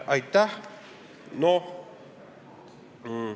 Aitäh!